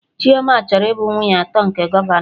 Chioma chọrọ ịbụ nwunye atọ nke gọvanọ